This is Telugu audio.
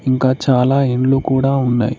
ఇంకా చాలా ఇండ్లు కూడా ఉన్నాయి.